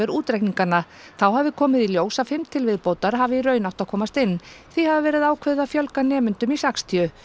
útreikningana þá hafi komið í ljós að fimm til viðbótar hafi í raun átt að komast inn því hafi verið ákveðið að fjölga nemendum í sextíu